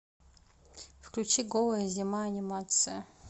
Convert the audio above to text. включи голая зима анимация